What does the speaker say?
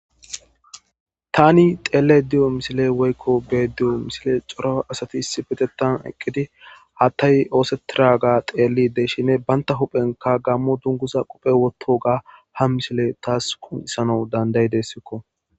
tani xeelle diyo misile woykko beediyo misile xoro asati issi betettan eqqidi hattay oosetira ga xeelli de shine banta huphenka gammo dunguza quphe wotto ga ha misile taas kunxisano danday dessikko